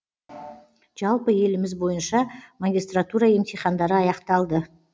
жалпы еліміз бойынша магистратура емтихандары аяқталды